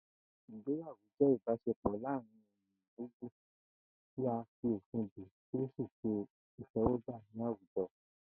Ìgbéyàwó jé̩ ìbás̩e̩pò̩ láàárín èèyàn méjì tí a fi òfin dè tí ó sì s̩e ìté̩wó̩gbà ní àwùjo̩